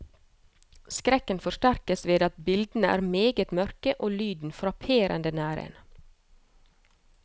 Skrekken forsterkes ved at bildene er meget mørke, og lyden frapperende nær en.